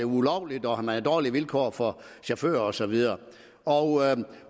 ulovlige og at man havde dårlige vilkår for chauffører og så videre